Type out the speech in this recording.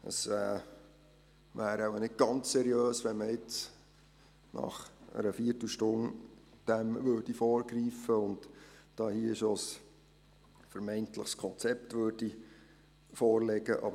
Es wäre nicht ganz seriös, wenn man dem nun nach einer Viertelstunde vorgreifen und hier bereits ein vermeintliches Konzept vorlegen würde.